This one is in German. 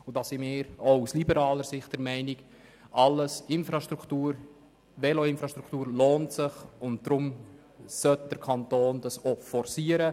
Diesbezüglich sind wir aus liberaler Sicht der Meinung, jede Veloinfrastruktur lohne sich und deshalb solle der Kanton das auch forcieren.